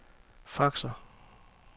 faxer